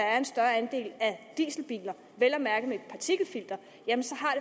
at en større andel af dieselbiler vel at mærke med et partikelfilter